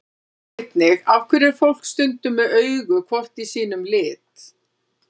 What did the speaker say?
Sjá einnig: Af hverju er fólk stundum með augu hvort í sínum lit?